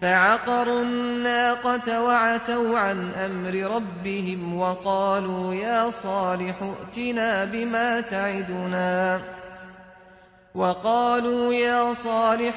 فَعَقَرُوا النَّاقَةَ وَعَتَوْا عَنْ أَمْرِ رَبِّهِمْ وَقَالُوا يَا صَالِحُ